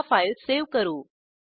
आता file save करू